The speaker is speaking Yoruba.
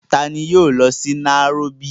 Taani yóò lọ sí nairóbì?